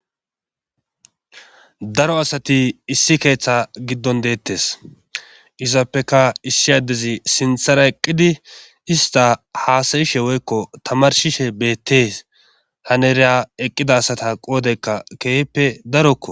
daro asati issi keeththe giddon deettes izappeka issi addezi sinthara eqqidi ista haasayishe woykko tamarshishe beettees haneriya eqqida asata qoodeykka keehppe darokko